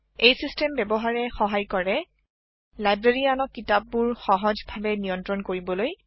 এই চিচটেম ব্যাৰহাৰে সহাই কৰে লাইব্যৰীয়ানক কিতাপ বোৰ সহজ ভাৱে নিয়ন্ত্ৰন কৰিবলৈ